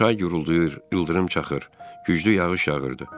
Çay guruldayır, ildırım çaxır, güclü yağış yağırdı.